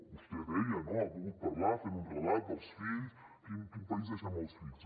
vostè ho deia no ha volgut parlar fent un relat dels fills quin país deixem els fills